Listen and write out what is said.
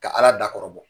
Ka ala dakɔrɔ bɔ